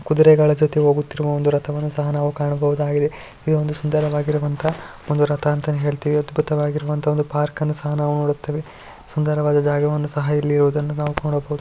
ಕುದುರೆಗಳ ಜೊತೆಗೆ ಹೋಗುತ್ತಿರುವ ಒಂದು ರಥವನ್ನು ಸಹ ನಾವು ಕಾಣಬಹುದಾಗಿದೆ ಇದೊಂದು ಸುಂದರವಾಗಿರುವಂತಹ ಒಂದು ರಥ ಅಂತ ಹೇಳ್ತಿವಿ ಅದ್ಭುತವಾಗಿರುವಂತಹ ಒಂದು ಪಾರ್ಕನ್ನು ಸಹ ನಾವು ನೋಡುತ್ತೇವೆ ಸುಂದರವಾದ ಜಾಗವನ್ನು ಸಹ ಇಲ್ಲಿ ಇರುವದುದನ್ನು ನಾವು ನೋಡಬಹುದು.